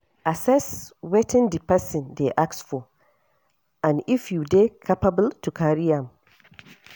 Assess wetin di person dey ask for and if you dey capable to carry am